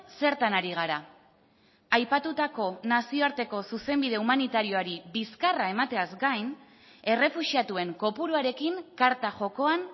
zertan ari gara aipatutako nazioarteko zuzenbide humanitarioari bizkarra emateaz gain errefuxiatuen kopuruarekin karta jokoan